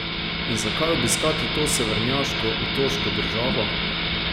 In zakaj obiskati to severnjaško otoško državo?